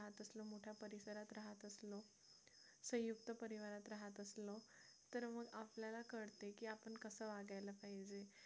संयुक्त परिवारात राहत असलो तर मग आपल्याला कळते की आपण कसं वागायला पाहिजे